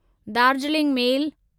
Darjeeling मेल